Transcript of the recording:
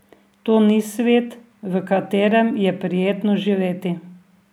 To ni svet, v katerem je prijetno živeti.